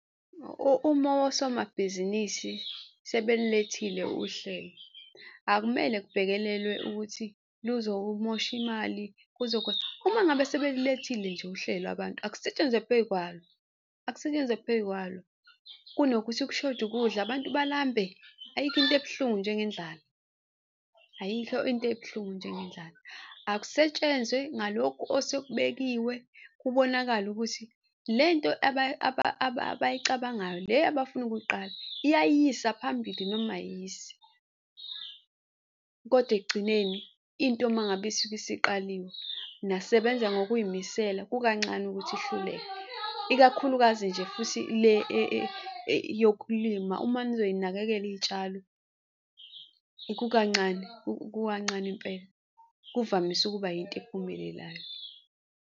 Uma osomabhizinisi sebelilethile uhlelo, akumele kubhekelelwe ukuthi luzomoshe imali . Uma ngabe sebelilethile nje uhlelo abantu akusetshenzwe phekwalo, akusetshenzwe phekwalo kunokuthi kushoda ukudla. Abantu balambe? Ayikho into ebuhlungu njengendlala, ayikho into ebuhlungu njengendlala. Akusetshenzwa ngalokhu osekubekiwe kubonakale ukuthi le nto abayicabangayo le abafuna ukuyiqala iyayisa phambili noma ayisi. Kodwa ekugcineni into uma ngabe isuke isiqaliwe, nasebenza ngokuy'misela, kukancane ukuthi ihluleke, ikakhulukazi nje futhi le yokulima uma nizoyinakekela iy'tshalo kukancane, kukancane impela kuvamise ukuba yinto ephumelelayo.